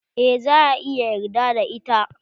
Eh za a iya yarda da ita.